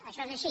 això és així